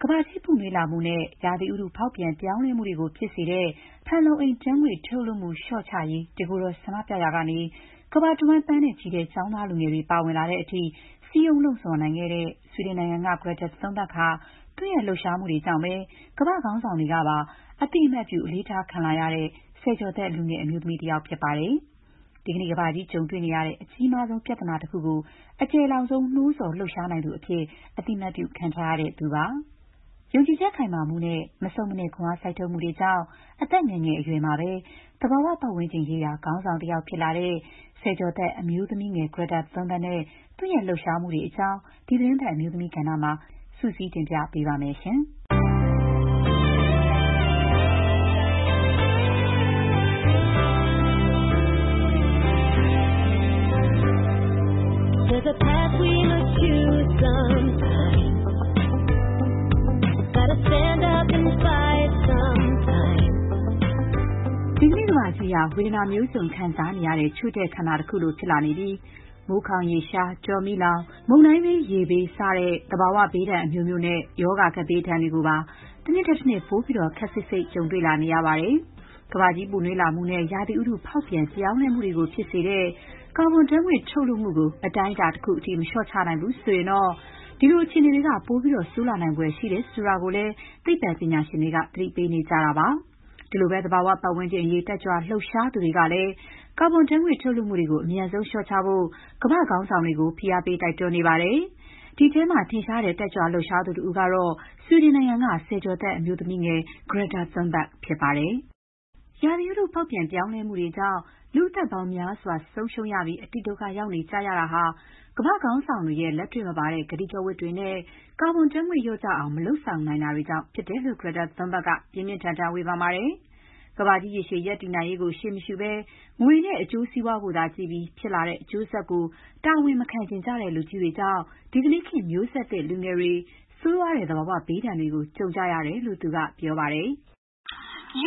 ကမ္ဘာကြီးပူနွေးမှုနဲ့ ရာသီဥတု ဖောက်ပြန်ပြောင်းလဲမှုတွေကို ဖြစ်စေတဲ့ ဖန်လုံအိမ်ဓာတ်ငွေ့ ထုတ်လွှတ်မှု လျှော့ချရေး တကိုယ်တော်ဆန္ဒပြရာကနေ ကမ္ဘာတဝှမ်း သန်းနဲ့ချီတဲ့ ကျောင်းသားလူငယ်တွေ ပါဝင်လာတဲ့အထိ စည်းရုံး လှုံ့ဆော် နိုင်ခဲ့တဲ့ ဆွီဒင်နိုင်ငံက Greta Thunberg ဟာ သူ့ရဲ့ လှုပ်ရှားမှုတွေကြောင့် ကမ္ဘာ့ခေါင်းဆောင်တွေကပါ အသိအမှတ်ပြု အလေးထားခံလာရတဲ့ ဆယ်ကျော်သက် လူငယ်အမျိုးသမီး တဦးပဲဖြစ်ပါတယ်။ ဒီကနေ့ ကမ္ဘာကြီးကြုံတွေ့နေရတဲ့ အကြီးမားဆုံးပြဿနာတခုကို အကျယ်လောင်ဆုံး နိုးဆော် လှုပ်ရှား နိုင်သူအဖြစ် အသိအမှတ်ပြု ခံထားရသူလည်း ဖြစ်ပါတယ်။ ယုံကြည်ချက်ခိုင်မာမှုနဲ့ မဆုတ်မနစ် ခွန်အားစိုက်ထုတ်မှုတွေကြောင့် အသက်ငယ်ငယ်အရွယ်မှာပဲ သဘာဝပတ်ဝန်းကျင်ရေးရာ ခေါင်းဆောင်တယောက် ဖြစ်လာတဲ့ ဆယ်ကျော်သက် အမျိုးသမီးငယ် Greta Thunberg နဲ့ သူ့ရဲ့လှုပ်ရှားမှုတွေအကြောင်း ဒီသီတင်းပတ် အမျိုးသမီးကဏ္ဍမှာ မခင်ဖြူထွေးက စုစည်းတင်ပြထားပါတယ်။ ဒီကနေ့ ကမ္ဘာကြီးဟာ ဝေဒနာမျိုးစုံ ခံစားနေရတဲ့ ချို့တဲ့ ခန္ဓာ တခုလိုဖြစ်လာနေပြီး မိုးခေါင်ရေရှား၊ တောမီးလောင်၊ မုန်တိုင်းဘေး ရေဘေးသင့် စသဖြင့် သဘာဝဘေးဒဏ် အမျိုးမျိုးနဲ့ ရောဂါကပ်ဘေး ဒဏ်တွေကိုပါ တနှစ်ထက်တနှစ် ပိုပြီးတော့ ခပ်စိပ်စိပ် ကြုံတွေ့လာနေရပါတယ်။ ကမ္ဘာကြီး ပူနွေးလာမှုနဲ့ ရာသီဥတု ဖောက်ပြန်ပြောင်းလဲမှုတွေကို ဖြစ်စေတဲ့ ကာဘွန်ဓာတ်ငွေ့ ထုတ်လွှတ်မှုတွေကို အတိုင်းအတာတခုအထိ မလျှော့ချနိုင်ဘူးဆိုရင်တော့ ဒီလို အခြေအနေတွေက ပိုပြီးတော့ ဆိုးရွားလာဖို့သာ ရှိတယ်ဆိုတာကိုလည်း သိပ္ပံပညာရှင်တွေက သတိပေးနေကြတာပါ။ ဒီလိုပဲ သဘာဝပတ်ဝန်းကျင်အရေး တက်ကြွ လှုပ်ရှားသူတွေကလည်း ကာဘွန်ဓာတ်ငွေ့ ထုတ်လွှတ်မှုတွေကို အမြန်ဆုံး လျှော့ချဖို့ ကမ္ဘာ့ခေါင်းဆောင်တွေကို ဖိအားပေး တိုက်တွန်းနေကြပါတယ်။ ဒီအထဲမှာ ထင်ရှားတဲ့ တက်ကြွလှုပ်ရှားသူတဦးကတော့ ဆွီဒင်နိုင်ငံက ဆယ်ကျော်သက် အမျိုးသမီးလူငယ် Greta Thunberg ပဲ ဖြစ်ပါတယ်။ ဥတုရာသီဖောက်ပြန် ပြောင်းလဲမှုတွေကြောင့် လူ့ အသက်ပေါင်းများစွာ ဆုံးရှုံးရပြီး အတိဒုက္ခ ရောက်နေကြရတာဟာ ကမ္ဘာ့ခေါင်းဆောင်တွေရဲ့ လက်တွေ့မပါတဲ့ ကတိကဝတ်တွေနဲ့ ကာဘွန်ဓာတ်ငွေ့ လျော့ကျအောင် မလုပ်ဆောင်နိုင်တာကြောင့် ဖြစ်တယ်လို့ Greta Thunberg က ပြင်းပြင်းထန်ထန် ဝေဖန်ပါတယ်။ ကမ္ဘာကြီး ရေရှည် တည်တံ့ရေးကို ရှေးမရှုဘဲ ငွေနဲ့ အကျိုးစီးပွားကိုသာ ကြည့်ပြီး ဖြစ်လာတဲ့အကျိုးဆက်ကို တာဝန်မခံချင်ကြတဲ့ လူကြီးတွေကြောင့် ဒီကနေ့ခေတ် မျိုးဆက်လူငယ်တွေဟာ ဆိုးရွားတဲ့ သဘာဝဘေးဒဏ်တွေကို ကြုံကြရတယ်လို့ သူက ပြောပါတယ်။ “ ရှင်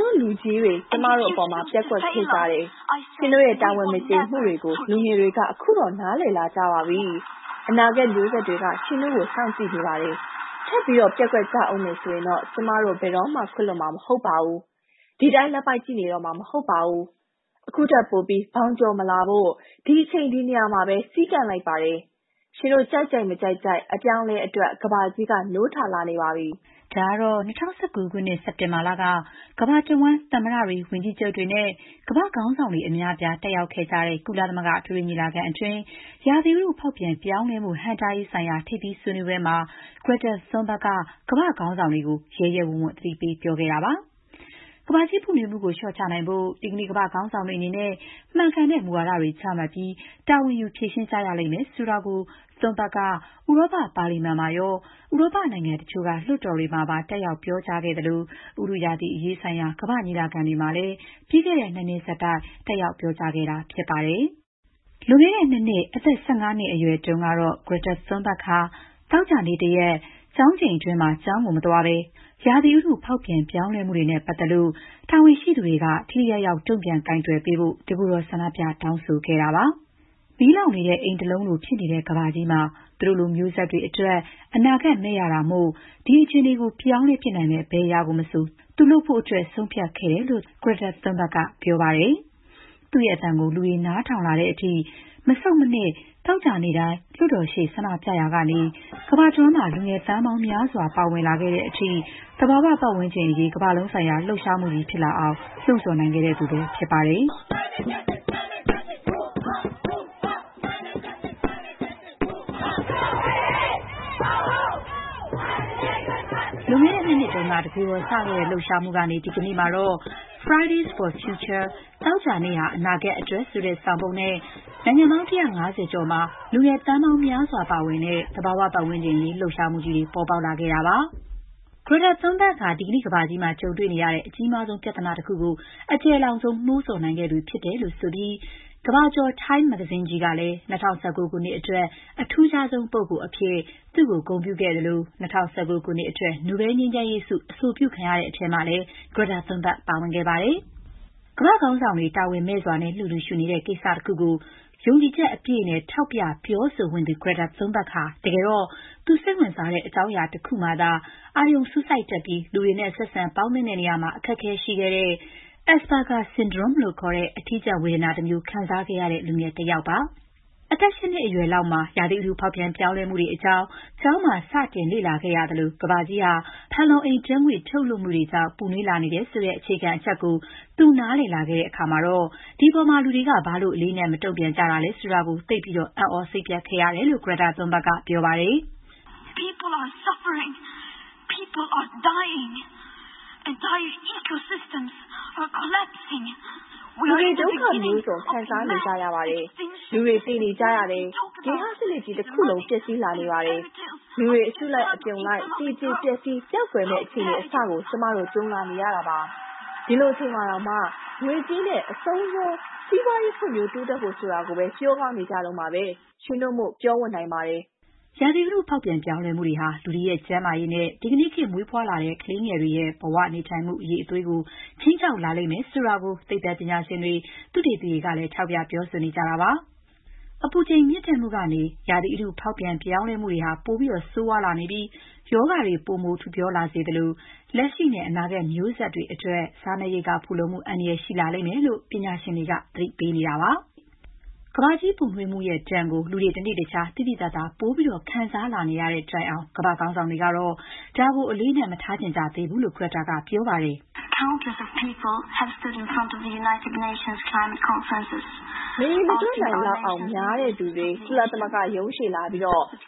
တို့လူကြီးတွေ ကျမတို့အပေါ်မှာ ပျက်ကွက်ခဲ့ကြတယ်။ ရှင်တို့ရဲ့ တာဝန်မကျေမှုတွေကို လူငယ်တွေက ခုတော့ နားလည်လာကြပါပြီ။ အနာဂတ်မျိုးဆက်တွေက ရှင်တို့ကို စောင့်ကြည့်နေကြပါတယ်။ ထပ်ပြီး ပျက်ကွက်ကြဦးမယ် ဆိုရင်တော့ ကျမတို့ ဘယ်တော့မှခွင့်လွှတ်မှာ မဟုတ်ပါဘူး။ ဒီအတိုင်း လက်ပိုက်ကြည့်နေတော့မှာ မဟုတ်ပါဘူး။ ခုထက်ပိုပြီး ဘောင်ကျော်မလာဖို့ ဒီအချိန် ဒီနေရာမှာပဲ စည်းကန့်လိုက်ပါတယ်။ ရှင်တို့ ကြိုက်ကြိုက် မကြိုက်ကြိုက် အပြောင်းအလဲ အတွက် ကမ္ဘာကြီးက နိုးထလာနေပါပြီ။'' ဒါကတော့ ၂၀၁၉ ခုနှစ် စက်တင်ဘာလက ကမ္ဘာတဝှမ်း သမ္မတတွေ၊ ဝန်ကြီးချုပ်တွေနဲ့ ကမ္ဘာ့ခေါင်းဆောင်တွေ အများအပြား တက်ရောက်ခဲကြတဲ့ ကုလသမဂ္ဂ အထွေထွေ ညီလာခံအတွင်း ရာသီဥတု ဖောက်ပြန်ပြောင်းလဲမှု ဟန့်တားရေးဆိုင်ရာ ထိပ်သီးဆွေးနွေးပွဲမှာ Greta Thunberg က ကမ္ဘာ့ခေါင်းဆောင်တွေကို ရဲရဲဝံ့ဝံ့ သတိပေး ပြောဆိုခဲ့တာပါ။ ကမ္ဘာကြီးပူနွေးမှုကို လျှော့ချနိုင်ဖို့ ဒီကနေ့ ကမ္ဘာ့ခေါင်းဆောင်တွေ အနေနဲ့ မှန်ကန်တဲ့မူဝါဒတွေ ချမှတ်ပြီး တာဝန်ယူဖြေရှင်းကြရလိမ့်မယ် ဆိုတာကို Greta Thunberg က ဥရောပ ပါလီမန်မှာရော၊ ဥရောပနိုင်ငံတချို့က လွှတ်တော်တွေမှာပါ တက်ရောက် ပြောကြားခဲ့သလို၊ ဥတုရာသီအရေးဆိုင်ရာ ကမ္ဘာ့ညီလာခံတွေမှာလည်း ပြီးခဲ့တဲ့ ၂ နှစ်ဆက်တိုက် တက်ရောက် ပြောကြားခဲ့တာဖြစ်ပါတယ်။ လွန်ခဲ့တဲ့ ၂ နှစ်၊ အသက် ၁၅ နှစ်အရွယ်တုန်းကတော့ Greta Thunberg ဟာ သောကြာနေ့ တရက်၊ ကျောင်းချိန်အတွင်းမှာ ကျောင်းမသွားဘဲ ဆွီဒင်ပါလီမန်ရှေ့ သွားပြီး ရာသီဥတု ဖောက်ပြန်ပြောင်းလဲမှုတွေနဲ့ ပတ်သက်လို့ တာဝန်ရှိသူတွေက ထိထိရောက်ရောက် တုံ့ပြန်ကိုင်တွယ်ဖို့ တကိုယ်တော် ဆန္ဒပြ တောင်းဆိုခဲ့ပါတယ်။ မီးလောင်နေတဲ့အိမ်တလုံးလို ဖြစ်နေတဲ့ကမ္ဘာကြီးမှာ သူတို့လိုမျိုးဆက်တွေအတွက် အနာဂတ်မဲ့ရတာမို့ ဒီအခြေအနေကို ပြောင်းလဲနိုင်မယ့် ဘယ်အရာမဆို သူ လုပ်ဖို့ ဆုံးဖြတ်ခဲ့တယ်လို့ Greta Thunberg က ပြောပါတယ်။ သူ့အသံကို လူတွေ နားထောင်လာတဲ့အထိ မဆုတ်မနစ် သောကြာနေ့တိုင်း လွှတ်တော်ရှေ့ ဆန္ဒပြခဲ့ရာကနေ ကမ္ဘာတဝန်း လူငယ်တွေ သန်းပေါင်းများစွာ ပါဝင်လာတဲ့အထိ သဘာဝပတ်ဝန်းကျင်အရေး ကမ္ဘာလုံးဆိုင်ရာ လှုပ်ရှားမှုကြီး ဖြစ်လာအောင် လှုံ့ဆော်နိုင်ခဲ့သူ ဖြစ်ပါတယ်။ လွန်ခဲ့တဲ့ ၂ နှစ်က တကိုယ်တော်စခဲ့တဲ့ လှုပ်ရှားမှုဟာ ဒီကနေ့မှာတော့ “Friday’s for Future” သောကြာနေ့ဟာ အနာဂတ်အတွက် ဆိုတဲ့ဆောင်ပုဒ်နဲ့ နိုင်ငံပေါင်း ၁၅၀ ကျော်မှာ လူတွေသန်းပေါင်း များစွာပါဝင်တဲ့ လှုပ်ရှားမှုကြီးတွေ ပေါ်ပေါက်လာခဲ့ပါတယ်။ Greta Thunberg ဟာ ဒီကနေ့ကမ္ဘာကြီး ကြုံနေရတဲ့ အကြီးမားဆုံး ပြဿနာတခုကို အကျယ်လောင်ဆုံး နိုးဆော်နိုင်ခဲ့သူဖြစ်တယ်လို့ ဆိုပြီး ကမ္ဘာကျော် Times မဂ္ဂဇင်းကြီးက ၂၀၁၉ ခုနှစ်အတွက် အထူးခြားဆုံး လူပုဂ္ဂိုလ်အဖြစ် သူ့ကို ဂုဏ်ပြု ခဲ့သလို၊ ၂၀၁၉ နိုဘဲလ် ငြိမ်းချမ်းရေးဆုအတွက် အဆိုပြုခံရတဲ့အထဲမှာလည်း Greta Thunberg ပါဝင်ခဲ့ပါတယ်။ ကမ္ဘာ့ခေါင်းဆောင်တွေ တာဝန်မဲ့စွာ လစ်လျူရှုနေတဲ့ ကိစ္စတခုကို ယုံကြည်ချက်အပြည့်နဲ့ ထောက်ပြ ပြောဆိုဝံ့သူ Greta Thunberg ဟာ တကယ်တော့ သူ စိတ်ဝင်စားတဲ့ အကြောင်းအရာတခုမှာသာ အာရုံစူးစိုက်နေတတ်ပြီး လူတွေနဲ့ ဆက်ဆံပေါင်းသင်း ဆက်ဆံရာမှာ အခက်အခဲရှိတဲ့ Asperger syndrome လို့ခေါ်တဲ့ ဝေဒနာတမျိုး ခံစားခဲ့ရတဲ့ လူငယ်တယောက်ပါ။ အသက် ၈ နှစ်အရွယ်လောက်မှာ ရာသီဥတုဖောက်ပြန် ပြောင်းလဲမှုတွေအကြောင်းကို ကျောင်းမှာ စတင်လေ့လာရပြီး ကမ္ဘာကြီးဟာ ဖန်လုံအိမ်ဓာတ်ငွေ့ ထုတ်လွှတ်မှုတွေကြောင့် ပူနွေးလာနေတယ်ဆိုတဲ့ အခြေခံအချက်ကို သူ နားလည်လာတဲ့အခါမှာတော့ ဒီအပေါ်မှာ လူတွေက ဘာလို့ အလေးအနက်ထား မတုံ့ပြန်ကြတာလဲဆိုတာ နားမလည်နိုင်အောင် သိပ်ကို အံ့သြ စိတ်ပျက်ခဲ့ရတယ်လို့ Greta Thunberg က ပြောပါတယ်။ သူ့အတွက်ကတော့ ဒါက ဘယ်လိုမှ လစ်လျူရှု မရခဲ့တာကြောင့် တကိုယ်တော် ဆန္ဒပြဖို့အထိ ဖြစ်ခဲ့တာလို့ ပြောပါတယ်။ ''လူတွေ ဒုက္ခမျိုးစုံ ခံစားနေကြရပါတယ်။ လူတွေ သေနေကြရပါတယ်။ ဂေဟစနစ်ကြီး တခုလုံး ပျက်စီးလာနေပါတယ်။ လူတွေ အစုလိုက် အပြုံလိုက် သေကြေ ပျက်စီး ပျောက်ကွယ်မယ့် အခြေအနေ အစကို ကျမတို့ ကြုံလာနေရတာပါ။ ဒီလိုအချိန်မှာတောင် ငွေကြေးနဲ့ အဆုံးစွန် စီးပွားရေးဖွံ့ဖြိုး တိုးတက်ဖို့ ဆိုတာတွေကိုပဲ ပြောကောင်းနေကြတုန်းပဲ။ ရှင်တို့မို့ ပြောဝံ့နိုင်ကြပါတယ်။” ရာသီဥတု ဖောက်ပြန်ပြောင်းလဲမှုတွေဟာ လူတွေရဲ့ ကျန်းမာရေးနဲ့ ဒီကနေ့ ခေတ်မွေးဖွားတဲ့ ကလေးငယ်တွေရဲ့ ဘဝနေထိုင်မှု အရည်အသွေးကို ခြိမ်းခြောက်လာလိမ့်မယ်ဆိုတာကို သိပ္ပံပညာရှင်တွေ၊ သုတေသီတွေကလည်း ထောက်ပြ ပြောဆိုနေကြတာပါ။ အပူချိန်မြင့်တက်မှုကနေ ရာသီဥတု ဖောက်ပြန်မှုတွေ ပိုဆိုးလာပြီး ရောဂါတွေ ပိုမို ထူပြောလာစေသလို၊ လက်ရှိနဲ့ အနာဂတ်မျိုးဆက် တွေအတွက် စားနပ်ရိက္ခာဖူလုံမှု အန္တရာယ်ရှိလာမယ်လို့ ပညာရှင်တွေက သတိပေးပါတယ်။ ကမ္ဘာကြီးပူနွေးမှုရဲ့ ဒဏ်ကို လူတွေ တနေ့တခြား သိသိသာသာ ပိုပြီး ခံစားလာနေရတဲ့တိုင်အောင် ကမ္ဘာ့ခေါင်းဆောင်တွေ ကတော့ ဒါကို အလေးအနက် မထားချင်ကြသေးဘူးလို့ Greta Thunberg က ပြောပါတယ်။ “မရေမတွက်နိုင်လောက်အောင် များတဲ့သူတွေ ကုလသမဂ္ဂရုံးရှေ့လာပြီး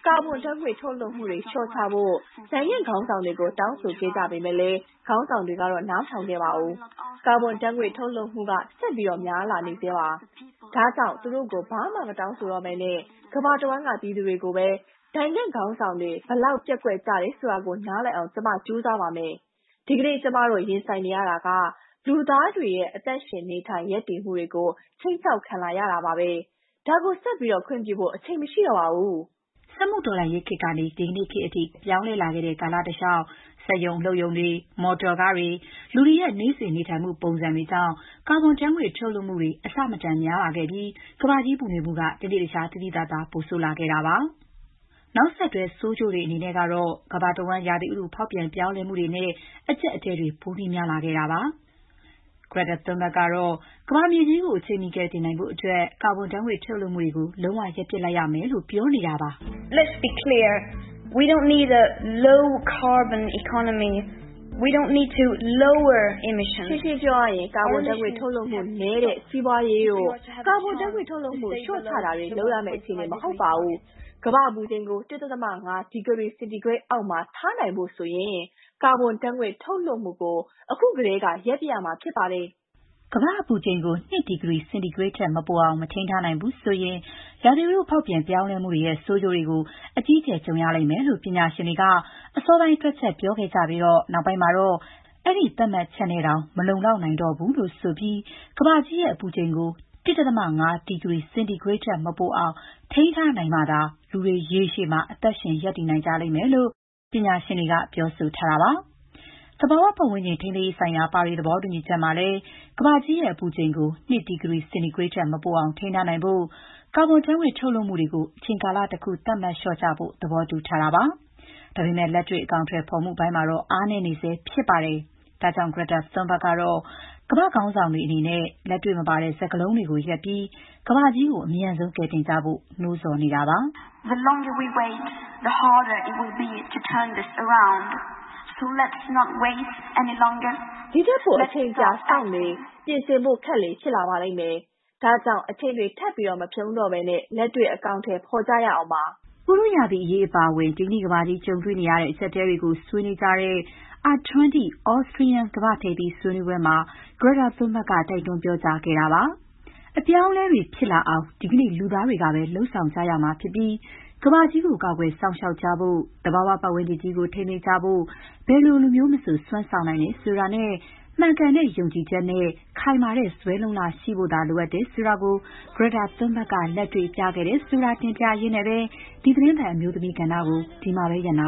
ကာဗွန်ဓာတ်ငွေ့ ထုတ်လွှတ်မှုတွေ လေ ျှာ့ချဖို့ နိုင်ငံ့ခေါင်းဆောင်တွေကို နှစ်များစွာ တောင်းဆိုခဲ့ကြပေမဲ့၊ ခေါင်းဆောင်တွေကတော့ နားမထောင်ခဲ့ပါဘူး။ ကာဗွန်ဓာတ်ငွေ့ ထုတ်လွှတ်မှုက ဆက်ပြီးများလာနေဆဲပါ။ ဒါကြောင့် သူတို့ကို ဘာမှမတောင်းဆိုတော့ဘဲ ကမ္ဘာတဝှမ်းက ပြည်သူတွေကိုပဲ နိုင်ငံ့ခေါင်းဆောင်တွေ ဘယ်လောက် ပျက်ကွက်ကြတယ်ဆိုတာ နားလည်အောင် ကျမ ကြိုးစားပါမယ်။ ဒီကနေ့ ကျမတို့ ရင်ဆိုင်နေရတာက လူသားတွေရဲ့ အသက်ရှင်နေထိုင် ရပ်တည်မှုတွေကို ခြိမ်းခြောက်ခံလာနေရတာပါ။ ဒါကို ဆက်ပြီး ခွင့်ပြုဖို့ အချိန်မရှိတော့ပါဘူး။” စက်မှုတော်လှန်ရေးခေတ်ကနေ ဒီကနေ့ခေတ်အထိ ပြောင်းလဲလာခဲ့တဲ့ ကာလတလေ ျှာက် စက်ရုံ အလုပ်ရုံတွေ၊ မော်တော်ကားတွေနဲ့ လူတွေရဲ့ နေ့စဉ် နေထိုင်မှု ပုံစံတွေကြောင့် ကာဗွန်ဓာတ်ငွေ့ ထုတ်လွှတ်မှုတွေ အဆမတန် များလာခဲ့ပြီး ကမ္ဘာကြီး ပူနွေးမှုက တနေ့တခြား သိသိသာသာ ပိုဆိုးလာခဲ့တာပါ။ နောက်ဆက်တွဲ ဆိုးကျိုးတွေကတော့ ကမ္ဘာတဝှမ်း ရာသီဥတုဖောက်ပြန်ပြောင်းလဲမှုတွေနဲ့ အကျပ်အတည်းတွေ ပိုများလာတာပါ။ Greta Thunberg ကတော့ ကမ္ဘာမြေကြီးကို အချိန်မီကယ်တင်နိုင်ဖို့အတွက် ကာဗွန်ဓာတ်ငွေ့ ထုတ်လွှတ်မှုကို လုံးဝ ရပ်ပစ်ရလိမ့်မယ်လို့ ပြောပါတယ်။ "ရှင်းရှင်းပြောပါမယ်။ ကာဗွန်ဓာတ်ငွေ့ ထုတ်လွှတ်မှုနည်းတဲ့ စီးပွားရေးတို့၊ ကာဗွန်ဓာတ်ငွေ့ ထုတ်လွှတ်မှု လေ ျှာ့ချတာတွေ လုပ်ရမယ့်အခြေအနေ မဟုတ်ပါဘူး။ ကမ္ဘာ့အပူချိန်ကို ၁.၅ ဒီဂရီ စင်တီဂရိတ်အောက်မှာ ထားနိုင်ဖို့ဆိုရင် ကာဗွန်ဓာတ်ငွေ့ ထုတ်လွှတ်မှုကို အခုကတည်းက ရပ်ပစ်ရမှာဖြစ်ပါတယ်။'' ကမ္ဘာ့အပူချိန်ကို ၂ ဒီဂရီ စင်တီဂရိတ်ထက် မပိုအောင် မထိန်းထားနိုင်ဘူးဆိုရင် ရာသီဥတု ဖောက်ပြန်ပြောင်းလဲမှုတွေရဲ့ ဆိုးကျိုးတွေကို အကြီးအကျယ်ကြုံရမယ်လို့ ပညာရှင်တွေက အစောပိုင်း တွက်ချက်ပြောခဲ့ကြပြီး၊ နောက်ပိုင်းမှာတော့ အဲ့ဒီသတ်မှတ်ချက်နဲ့ တောင် မလုံလောက်နိုင်တော့ဘူးလို့ ဆိုပြီး ကမ္ဘာကြီးရဲ့ အပူချိန်ကို ၁.၅ ဒီဂရီစင်တီဂရိတ်ထက် မပိုအောင် ထိန်းထားနိုင်မှသာ လူတွေ ရေရှည် အသက်ရှင် ရပ်တည်နိုင်လိမ့်မယ်လို့ ပညာရှင်တွေက ပြောဆိုထားကြပါတယ်။ သဘာဝပတ်ဝန်းကျင် ထိန်းသိမ်းရေးဆိုင်ရာ ပါရီသဘောတူညီချက်မှာလည်း ကမ္ဘာကြီးရဲ့အပူချိန်ကို ၂ ဒီဂရီ စင်တီဂရိတ်ထက်မပိုအောင် ထိန်းထားနိုင်ဖို့အတွက် ကာဗွန်ဓာတ်ငွေ့ ထုတ်လွှတ်မှုတွေ အချိန်ကာလတခု သတ်မှတ် လျှော့ချဖို့ သဘောတူထားပါတယ်။ ဒါပေမဲ့ လက်တွေ့ အကောင်အထည်ဖော်မှုတွေမှာတော့ အားနည်းနေဆဲဖြစ်ပါတယ်။ ဒါကြောင့် Greta Thunberg ကတော့ ကမ္ဘာ့ခေါင်းဆောင်တွေ အနေနဲ့ လက်တွေ့မပါတဲ့ စကားလုံးတွေကို ရပ်ပြီး ကမ္ဘာကြီးကို အမြန်ဆုံး ကယ်တင်ကြဖို့ နိုးဆော်နေတာပါ။ " ဒီ့ထက်ပို အချိန်ကြာစောင့်လေ... ပြင်ဆင်ဖို့ခက်လေ ဖြစ်လာပါလိမ့်မယ်။ ဒါကြောင့် အချိန်တွေ ထပ်မဖြုန်းတော့ဘဲ လက်တွေ့ အကောင်အထည် ဖော်ကြရအောင်ပါ။'' ဥတုရာသီအရေး အပါအဝင် ဒီကနေ့ကမ္ဘာကြီး ကြုံတွေ့နေရတဲ့ အကျပ်အတည်းတွေကို ဆွေနွေးကြတဲ့ R20 Austrian ကမ္ဘာ့ထိပ်သီးဆွေးနွေးပွဲမှာ Greta Thunberg က တိုက်တွန်းပြောကြားခဲ့တာပါ။ အပြောင်းအလဲတွေ ဖြစ်လာအောင် ဒီကနေ့ လူသားတွေကပဲ လုပ်ဆောင်ကြရမှာဖြစ်ပြီး ကမ္ဘာကြီးကို ကာကွယ်စောင့်ရှောက်ကြဖို့၊ သဘာဝပတ်ဝန်းကျင်ကြီးကို ထိန်းသိမ်းဖို့ ဘယ်လိုလူမျိုးမဆို စွမ်းဆောင်နိုင်တယ်ဆိုတာနဲ့ မှန်ကန်တဲ့ ယုံကြည်ချက်နဲ့ ခိုင်မာတဲ့ဇွဲလုံ့လသာ ရှိဖို လိုတယ်ဆိုတာကို Greta Thunberg က လက်တွေ့ ပြခဲ့တယ်ဆိုတာ တင်ပြရင်းနဲ့ပဲ ဒီသီတင်းပတ် အမျိုးသမီးကဏ္ဍကို ဒီမှာပဲရပ်နာ